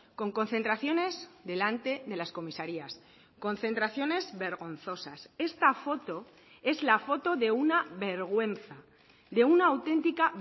con concentraciones delante de las comisarias concentraciones vergonzosas esta foto es la foto de una vergüenza de una auténtica